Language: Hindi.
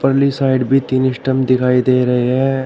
साइड भी तीन स्टंप दिखाई दे रहे हैं।